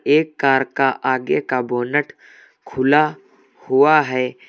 एक कार का आगे का बोनेट खुला हुआ है।